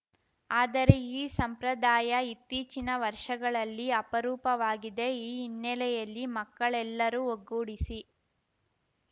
ಆದರೆ ಈ ಸಂಪ್ರದಾಯ ಇತ್ತೀಚಿನ ವರ್ಷಗಳಲ್ಲಿ ಅಪರೂಪವಾಗಿದೆ ಈ ಹಿನ್ನೆಲೆಯಲ್ಲಿ ಮಕ್ಕಳೆಲ್ಲರೂ ಒಗ್ಗೂಡಿಸಿ